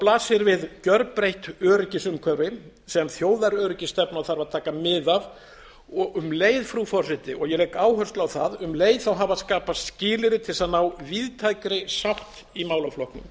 blasir við gjörbreytt öryggisumhverfi sem þjóðaröryggisstefnan þarf að taka mið af um leið frú forseti og ég legg áherslu á það um leið hafa skapast skilyrði til þess að ná víðtækri sátt í málaflokknum